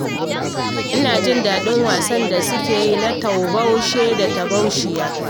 Ina jin daɗin wasan da suke yi na taubashi da taubashiya